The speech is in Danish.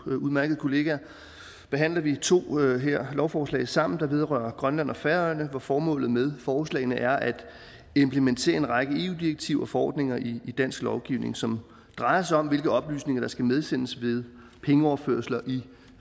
udmærkede kollegaer behandler vi her to lovforslag sammen der vedrører grønland og færøerne og formålet med forslagene er at implementere en række eu direktiver og forordninger i dansk lovgivning som drejer sig om hvilke oplysninger der skal medsendes ved pengeoverførsler i